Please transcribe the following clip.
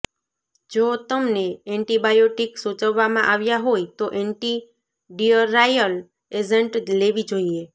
જો તમને એન્ટિબાયોટિક સૂચવવામાં આવ્યા હોય તો એન્ટીડિઅરાયલ એજન્ટ લેવી જોઈએ